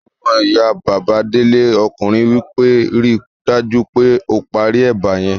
Ọmọyá Bàbá Délé ọkùnrin wí pé 'ri dájú pé o parí ẹ̀bà yẹn'